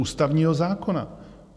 Ústavního zákona.